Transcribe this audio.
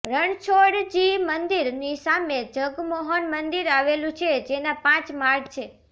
રણછોડજી મંદિરની સામે જગમોહન મંદિર આવેલું છે જેના પાંચ માળ છે